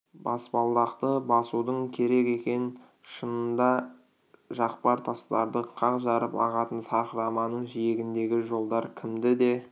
баспалдақты басуың керек екен шынында жақпар тастарды қақ жарып ағатын сарқыраманың жиегіндегі жолдар кімді де